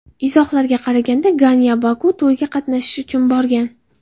Izohlarga qaraganda, Ganya Bokuga to‘yda qatnashish uchun borgan.